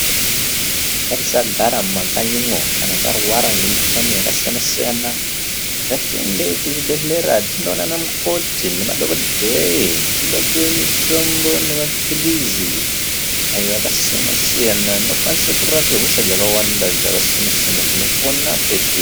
Ngatisagara mumakanyimwo kana tarwara ngemikhuhlani yakasiyanasiyana ngatiende kuzvibhehlera tinoona ana mukoti nemadhokodheya tinopuwe mitombo nemapilizi ayo akasiyanasiyana anokwanisa kurape hosha dzakasiyanasiyana dzinopone petiri.